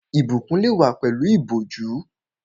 Ìbùkún lè wá pẹ̀lú ìbòjú